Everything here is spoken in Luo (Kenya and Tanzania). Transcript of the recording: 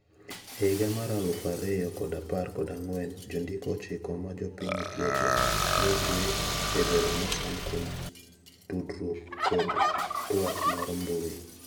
E higa mar alufu ariyo kod apar kod ang'wen jondiko ochiko ma jopiny Ethiopia ne otwe ejela mosand kuom tudruok kod twak mar mbui.